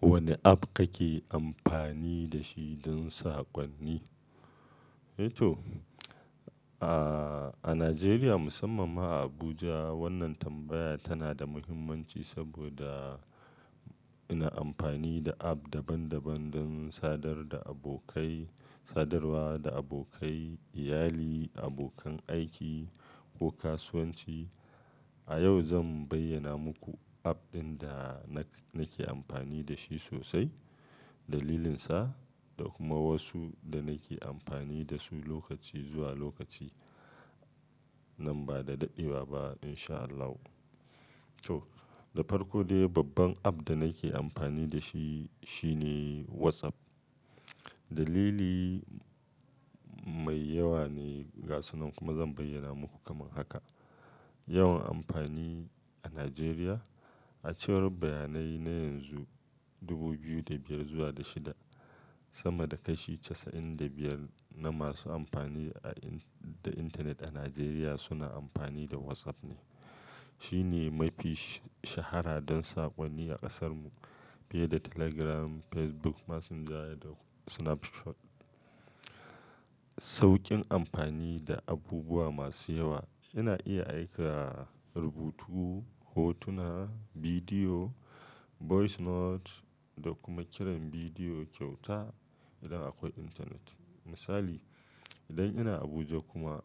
Wanda app kake amfani da shi don saƙonni? To, a Najeriya musamman ma a Abuja wannan tambaya tana da muhimmanci saboda ina amfani da app daban daban don sadar da abokai, sadarwa da abokai, iyali, abokan aiki ko kasuwanci. A yau zan bayyana muku app ɗin da na nake amfani da shi sosai, dalilinsa da kuma wasu da nake amfani da su lokaci zuwa lokaci. Nan ba da daɗewa ba in sha Allahu. To, da farko dai babban app da nake amfani da shi shine WhatsApp. Dalili mai yawa ne ga sunan kuma zan bayyana muku kamar haka. Yawan amfani a Najeriya. A cewar bayanai na yanzu dubu biyu da biyar zuwa da shida sama da kashi casa'in da biyar na masu amfani da internet a Najeriya suna amfani da WhatsApp ne. Shine mafi shahara don saƙonni a ƙasarmu fiye da Telegram, Facebook Messenger da Snapchat. Sauƙin amfani da abubuwa masu yawa. Ina iya aika rubutu, hotuna, bidiyo, voice note da kuma kiran bidiyo kyauta idan akwai intanet. Misali, idan ina Abuja kuma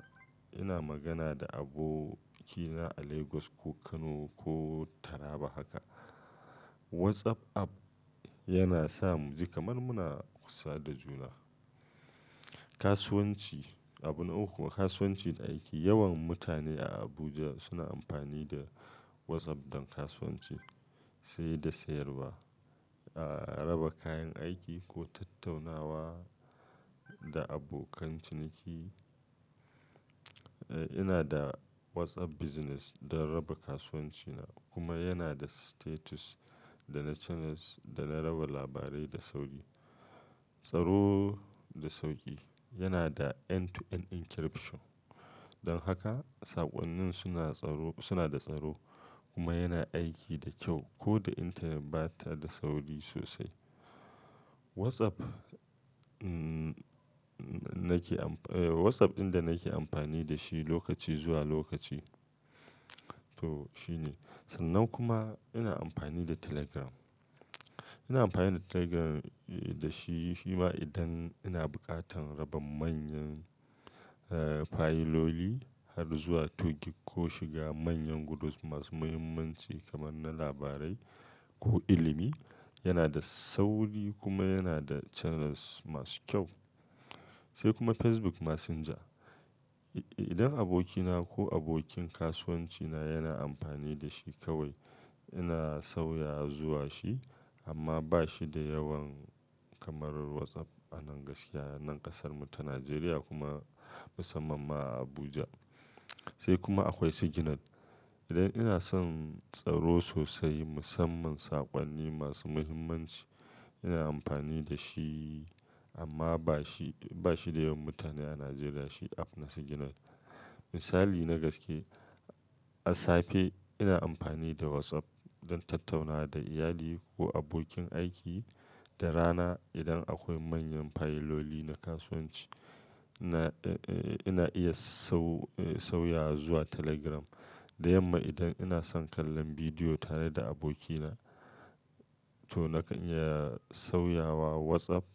ina magana da abokina a Lagos ko Kano ko taraba haka, WhatsApp app yana sa mu ji kamar muna kusa da juna. Kasuwanci, abun uku kasuwancin da aiki. Yawan mutane a Abuja suna amfani da WhatsApp don kasuwanci sai da sayarwa, raba kayan aiki ko tattaunawa da abokan ciniki. Ina da WhatsApp business don raba kasuwanci na kuma yana da status da na channels da na raba labarai da sauƙi. Tsaro da sauƙi, yana da end to end encryption. Don haka saƙonnin suna tsaro, suna da tsaro kuma yana aiki da kyau ko da internet bata da sauri sosai. WhatsApp, mm nake amfani, WhatsApp ɗin da nake amfani da shi lokaci zuwa lokaci to shine. Sannan kuma ina amfani da Telegram. Ina amfani da Telegram da shi shi ma idan ina buƙatar raba manyan fayiloli har zuwa two gigg ko shiga manyan gudus masu muhimmanci kamar na labarai ko ilimi. Yana da sauri kuma yana da channels masu kyau. Sai kuma Facebook Messenger. Idan abokina ko abokin kasuwancina yana amfani da shi kawai ina sauya zuwa shi amma bashi da yawan kamar WhatsApp a nan gaskiya a nan ƙasarmu ta Najeriya kuma musamman ma a Abuja. Sai kuma akwai Signal. Idan ina son tsaro sosai musamman saƙonni masu muhimmanci ina amfani da shi amma bashi, bashi da yawan mutane a Najeriya shi app na Signal. Misali nagaske, a safe ina amfani da WhatsApp don tattaunawa da iyali ko abokin aiki da rana idan akwai manyan fayiloli na kasuwanci ina iya sau sauya zuwa Telegram. Da yamma idan ina son kallon bidiyo tare da abokina to nakan iya sauyawa WhatsApp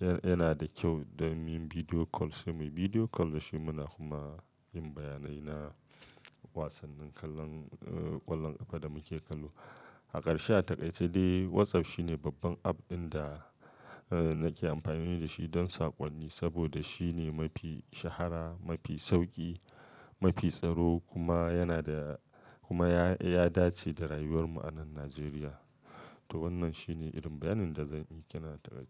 yana da kyau don yin bidiyo call sai muyi bidiyo call da shi muna kuma yin bayanai na wasannin kallon ƙwallon ƙafa da muke kallo. A karshe a takaice dai WhatsApp shine babban app ɗin da nake amfani da shi don saƙonni saboda shine mafi shahara, mafi sauƙi, mafi tsaro kuma yana da kuma ya dace da rayuwar mu a nan Najeriya. To wannan shine irin bayanin da zan yi ke nan takaice.